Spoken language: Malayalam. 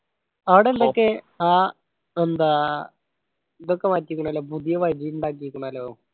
ആട എല്ലാം ഒക്കെ ആഹ് എന്താ ഇതൊക്കെ മാറ്റിക്കുണു അല്ലോ പുതിയ വഴി ഉണ്ടാക്കിക്കുണുഅല്ലോ